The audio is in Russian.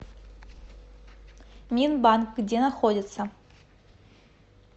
минбанк где находится